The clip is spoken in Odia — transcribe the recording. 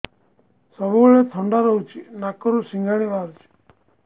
ସବୁବେଳେ ଥଣ୍ଡା ରହୁଛି ନାକରୁ ସିଙ୍ଗାଣି ବାହାରୁଚି